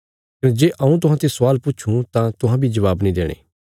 कने जे हऊँ तुहांते स्वाल पुछूं तां तुहां बी जबाब नीं देणा